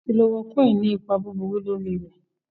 Kílóròkùíni ni ìpà búburú lọ́rí rè.